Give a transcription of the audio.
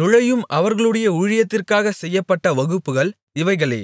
நுழையும் அவர்களுடைய ஊழியத்திற்காகச் செய்யப்பட்ட வகுப்புகள் இவைகளே